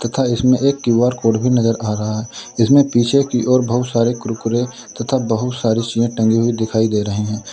तथा इसमें एक क्यू_आर कोड भी नजर आ रहा जिसमें पीछे की ओर बहुत सारी कुरकुरे तथा बहुत सारी चीजें टंगी हुई दिखाई दे रही हैं।